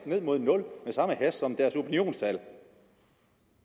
ned mod nul med samme hast som deres opinionstal